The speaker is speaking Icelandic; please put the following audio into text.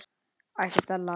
æpti Stella.